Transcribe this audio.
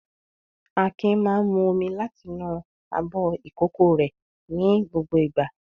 Akin máa ń mu omi láti inú abọ́ ìkókó rẹ̀ ní gbogbo ìgbà.